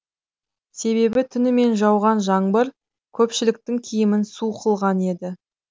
себебі түнімен жауған жаңбыр көпшіліктің киімін су қылған еді